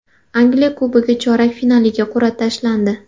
Angliya Kubogi chorak finaliga qur’a tashlandi.